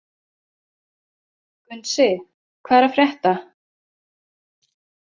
Gunnsi, hvað er að frétta?